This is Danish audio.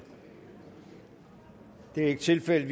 det er ikke tilfældet